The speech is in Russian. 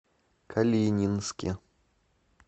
калининске